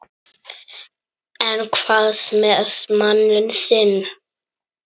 En hvað með manninn þinn?